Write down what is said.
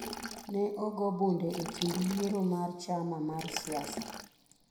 Ne ogo bunde e kind yiero mar chama mar siasa.